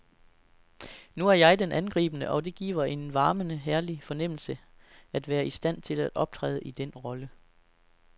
Nu er jeg den angribende, og det giver en varmende herlig fornemmelse at være i stand til at optræde i den rolle.